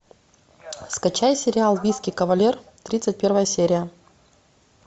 скачай сериал виски кавалер тридцать первая серия